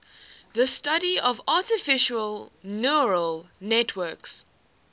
the study of artificial neural networks